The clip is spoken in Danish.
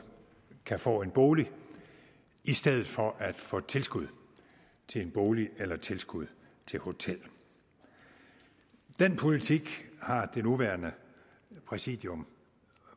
kan få en bolig i stedet for at få tilskud til en bolig eller tilskud til hotel den politik har det nuværende præsidium